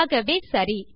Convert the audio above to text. ஆகவே சரி